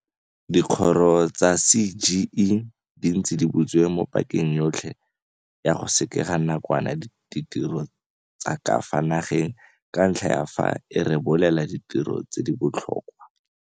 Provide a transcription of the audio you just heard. Dikgoro tsa CGE di ntse di butse mo pakeng yotlhe ya go sekega nakwana ditiro tsa ka fa nageng ka ntlha ya fa e rebolela ditirelo tse di botlhokwa.